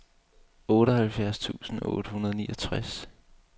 otteoghalvfjerds tusind otte hundrede og niogtres